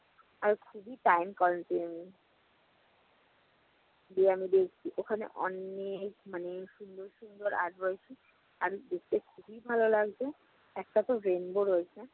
আর খুবই prank করেন তিনি। গিয়ে আমি দেখেছি ওখানে অনেক মানে সুন্দর সুন্দর art রয়েছে। আর দেখতে খুবই ভালো লাগছে। একটাতে rainbow রয়েছে।